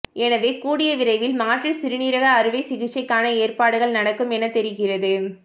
எனவே கூடியவிரைவில் மாற்று சிறுநீரக அறுவை சிகிச்சைக்கான ஏற்பாடுகள் நடக்கும் என தெரிகிறது